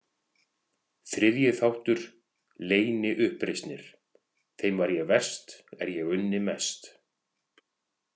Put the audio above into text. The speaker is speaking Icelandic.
Þriðji þáttur LEYNIUPPREISNIR Þeim var eg verst er eg unni mest.